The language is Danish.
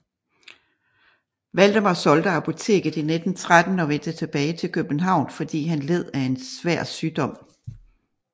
Valdemar solgte apoteket i 1913 og vendte tilbage til København fordi han led af svær sygdom